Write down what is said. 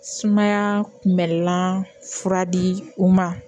Sumaya kunbɛlan fura di u ma